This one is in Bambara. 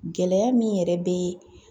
Gɛlɛya min yɛrɛ bɛ